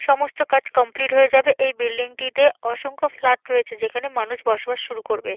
সমস্ত কাজ কমপ্লিট হয়ে যাবে। এই বিল্ডিংটিতে অসংখ্য ফ্ল্যাট রয়েছে যেখানে মানুষ বসবাস শুরু করবে।